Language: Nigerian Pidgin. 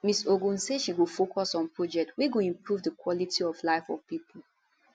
miss ogun say she go focus on project wey go improve di quality of life of pipo